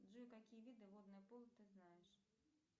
джой какие виды водное поло ты знаешь